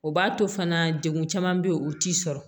O b'a to fana degun caman bɛ yen o t'i sɔrɔ